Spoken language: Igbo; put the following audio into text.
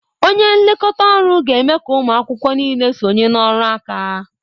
Onye nlekọta ọrụ ga-eme ka ụmụ akwụkwọ niile sonye na ọrụ aka